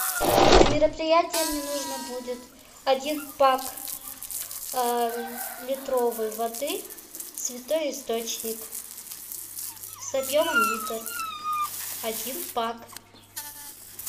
на мероприятие мне нужно будет один пак литровой воды святой источник с объемом литр один пак